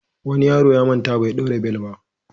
Wani yaro ya manta bai ɗaura bel ba.